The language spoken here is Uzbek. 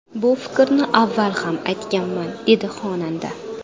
Bu fikrni avval ham aytganman”, dedi xonanda.